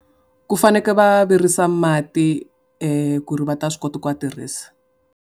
Ku fanekele va virisa mati ku ri va ta swi kota ku ma tirhisa.